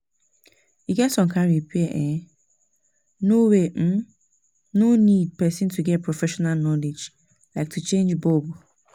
E get some kind repair wey um no wey um no need person to get professional knowledge like to change bulb